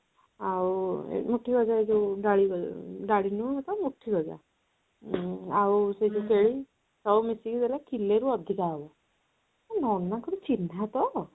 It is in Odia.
ଆଉ ମୁଠି ଗଜା ଯୋଉ ଡାଳି ଭଳିଆ ଡାଳି ନୁହେଁ ତ ମୁଠି ଗଜା ଆଉ ସେ ଯୋଉ ଫେଣି ସବୁ ମିଶିକି ଦେଲା କିଲେ ରୁ ଅଧିକା ହବ ଏ ନନାଙ୍କର ଚିହ୍ନା ତ